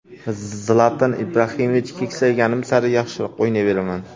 Zlatan Ibrahimovich: Keksayganim sari yaxshiroq o‘ynayveraman.